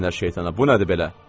Lənə şeytana, bu nədir belə!